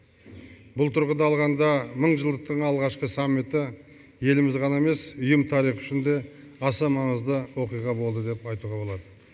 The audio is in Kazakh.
бұл тұрғыда алғанда мыңжылдықтың алғашқы саммиті еліміз ғана емес ұйым тарихы үшін де аса маңызды оқиға болды деп айтуға болады